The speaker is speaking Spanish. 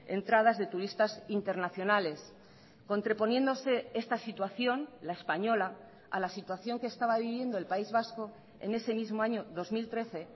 entradas de turistas internacionales contraponiéndose esta situación la española a la situación que estaba viviendo el país vasco en ese mismo año dos mil trece